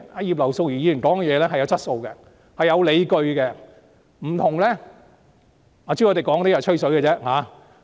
葉劉淑儀議員的發言有質素、有理據，有別於朱凱廸議員只是"吹水"的言論。